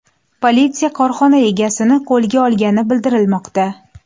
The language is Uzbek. Politsiya korxona egasini qo‘lga olgani bildirilmoqda.